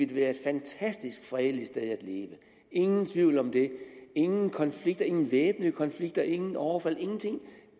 det være et fantastisk fredeligt sted at leve ingen tvivl om det ingen konflikter ingen væbnede konflikter ingen overfald ingenting